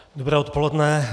Dobré odpoledne.